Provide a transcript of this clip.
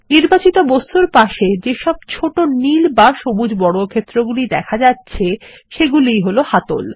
নির্বাচিত বস্তুর পাশে যেসব ছোট নীল বা সবুজ বর্গক্ষেত্রগুলি দেখা যাচ্ছে সেগুলি ই হল হাতল